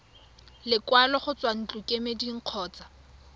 lekwalo go tswa ntlokemeding kgotsa